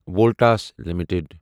Voltas limited